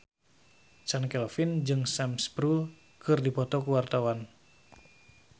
Chand Kelvin jeung Sam Spruell keur dipoto ku wartawan